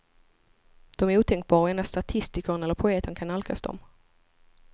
De är otänkbara, och endast statistikern eller poeten kan nalkas dem.